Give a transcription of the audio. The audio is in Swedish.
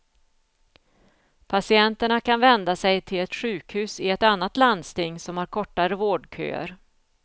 Patienterna kan vända sig till ett sjukhus i ett annat landsting som har kortare vårdköer.